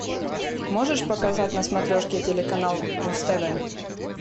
можешь показать на смотрешке телеканал муз тв